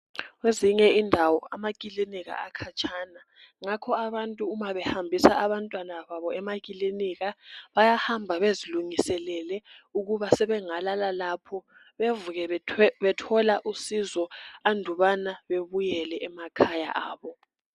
Kwezinye indawo amaclinika akhanyana yingakho abantu nxa behambisa abantwana babo emaclinika bayahamba bezilungiselele ukubana sebengalala lapho bevuke bethola usizo andukubana bebuyele emakhaya abo